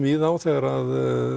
í þá þegar